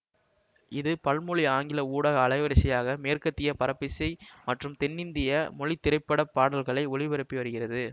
இது பல்மொழி ஆங்கில ஊடக அலைவரிசையாக மேற்கத்திய பரப்பிசை மற்றும் தென்னிந்திய மொழி திரைப்பட பாடல்களை ஒலிபரப்பி வருகிறது